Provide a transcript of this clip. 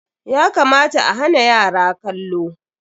Ya kamata a hana yara kallo.